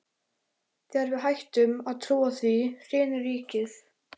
Þegar við hættum að trúa því, hrynur ríkið!